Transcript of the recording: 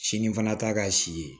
Sini fana t'a ka si ye